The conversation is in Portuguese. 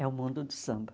É o mundo do samba.